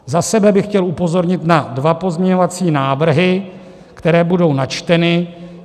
Za sebe bych chtěl upozornit na dva pozměňovací návrhy, které budou načteny.